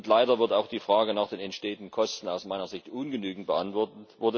Und leider wird auch die Frage nach den entstehenden Kosten aus meiner Sicht ungenügend beantwortet.